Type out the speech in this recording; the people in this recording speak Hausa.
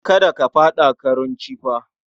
Kada ka faɗa karunci fa!